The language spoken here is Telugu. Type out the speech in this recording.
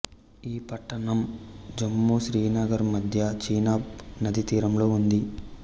ఈ పట్టణం జమ్మూ శ్రీనగర్ మద్య చీనాబ్ నదీతీరంలో ఉంది